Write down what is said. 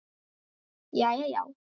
Jæja, já.